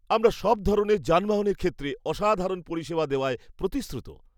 আমরা সব ধরনের যানবাহনের ক্ষেত্রে অসাধারণ পরিষেবা দেওয়ায় প্রতিশ্রুত।